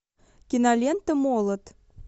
кинолента молот